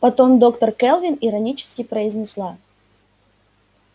потом доктор кэлвин иронически произнесла